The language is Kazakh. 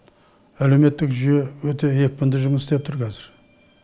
әлеуметтік жүйе өте екпінді жұмыс істеп тұр қазір